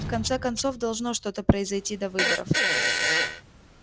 в конце концов должно что-то произойти до выборов